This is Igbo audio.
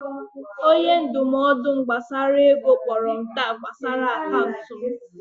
Onye ndụmọdụ m gbasara ego kpọrọ m taa gbasara akaụntụ m